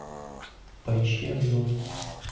поищи обзор